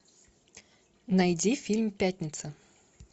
найди фильм пятница